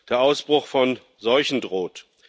Der Ausbruch von Seuchen droht.